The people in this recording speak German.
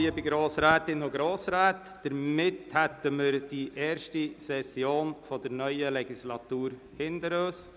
Liebe Grossrätinnen und Grossräte, somit haben wir die erste Session der neuen Legislatur hinter uns.